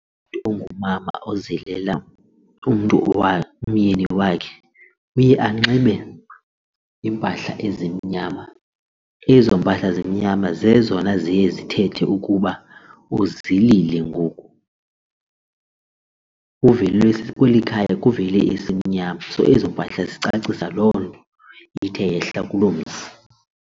Umntu ongumama ozilela umntu umyeni wakhe uye anxibe iimpahla ezimnyama, ezo mpahla zenyama zezona ziye zithethe ukuba uzilile ngoku kweli khaya kuvele isimnyama so ezo mpahla zicacise loo nto ithe yehla kuloo mzi.